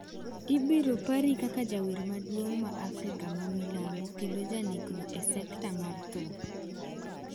"""Ibiro pari kaka jawer maduong' ma Afrika ma milambo kendo janekno e sekta mar thum."""